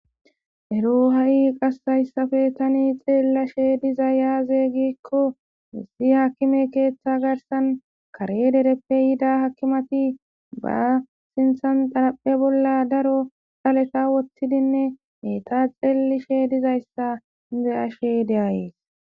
Ero hayi hayisappe ta xelashe dizayi aze gikko issi akime ketha garissan kare derepe yidda akimeti ba sinthani xariphe bola daro dhaleta wothidine etta xelishe dizayisa beyashe deyayisi